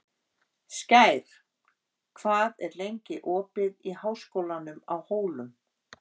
Skær, hvað er lengi opið í Háskólanum á Hólum?